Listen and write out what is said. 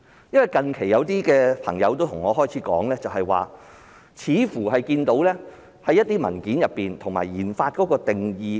因為近期有些朋友對我說，似乎在一些文件中看到研發的定義。